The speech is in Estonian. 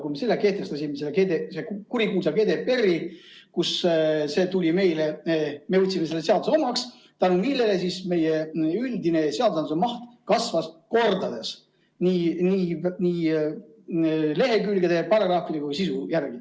Kui me selle kurikuulsa GDPR‑i kehtestasime, siis me võtsime seaduse omaks ja tänu sellele meie üldine seadusandluse maht kasvas kordades nii lehekülgede, paragrahvide kui ka sisu järgi.